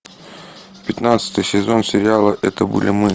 пятнадцатый сезон сериала это были мы